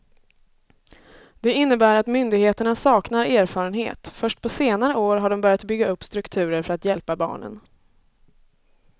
Det innebär att myndigheterna saknar erfarenhet, först på senare år har de börjat bygga upp strukturer för att hjälpa barnen.